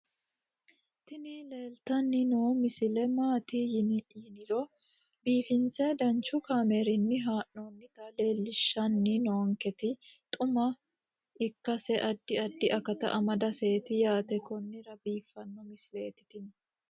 tini leeltanni noo misile maaati yiniro biifinse danchu kaamerinni haa'noonnita leellishshanni nonketi xuma ikkase addi addi akata amadaseeti yaate konnira biiffanno misileeti tini